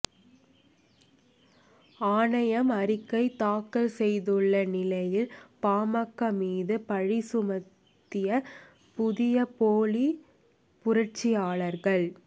ஆணையம் அறிக்கை தாக்கல் செய்துள்ள நிலையில் பாமக மீது பழி சுமத்திய புதிய போலி புரட்சியாளர்கள்